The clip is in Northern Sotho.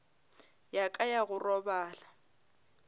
ya ka ya go robala